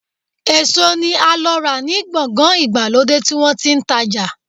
Eso ni a lo ra ni gbogan igbalode ti won ti n taja